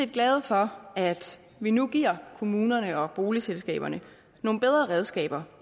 glade for at vi nu giver kommunerne og boligselskaberne nogle bedre redskaber